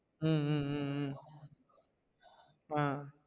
ஹம் உம் உம் ஆஹ்